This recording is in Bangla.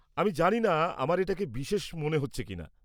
আমি জানি না আমার এটাকে বিশেষ মনে হচ্ছে কিনা।